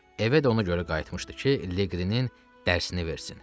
Evə də ona görə qayıtmışdı ki, Leqrinin dərsini versin.